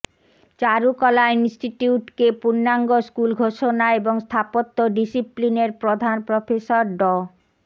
চারুকলা ইনস্টিটিউটকে পূর্ণাঙ্গ স্কুল ঘোষণা এবং স্থাপত্য ডিসিপ্লিনের প্রধান প্রফেসর ড